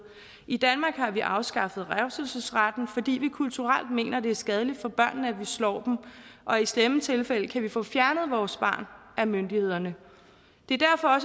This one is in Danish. i danmark har vi afskaffet revselsesretten fordi vi kulturelt mener det er skadeligt for børnene at vi slår dem og i slemme tilfælde kan vi få fjernet vores barn af myndighederne det er derfor